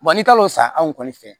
Wa ni kalo san anw kɔni fɛ